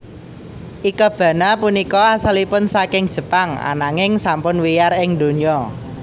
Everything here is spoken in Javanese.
Ikebana punika asalipun saking Jepang ananging sampun wiyar ing donya